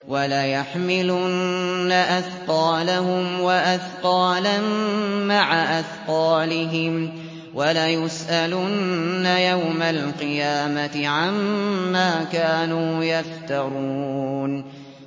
وَلَيَحْمِلُنَّ أَثْقَالَهُمْ وَأَثْقَالًا مَّعَ أَثْقَالِهِمْ ۖ وَلَيُسْأَلُنَّ يَوْمَ الْقِيَامَةِ عَمَّا كَانُوا يَفْتَرُونَ